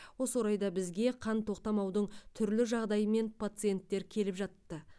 осы орайда бізге қан тоқтамаудың түрлі жағдайымен пациенттер келіп жатты